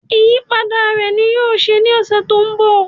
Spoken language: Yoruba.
Ìyípadà rẹ ní yóò ṣe ní ọ̀sẹ̀ tó ń bọ̀